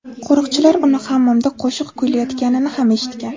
Qo‘riqchilar uni hammomda qo‘shiq kuylayotganini ham eshitgan.